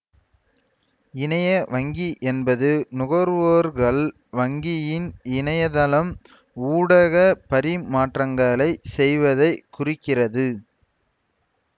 இணைய வங்கி என்பது நுகர்வோர்கள் வங்கியின் இணைய தளம் ஊடாக பரிமாற்றங்களைச் செய்வதை குறிக்கிறது